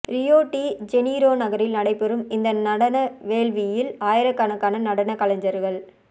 Rio de Janeiro நகரில் நடைபெறும் இந்த நடன வேள்வியில் ஆயிரக்கணக்கான நடன கலைஞர்கள்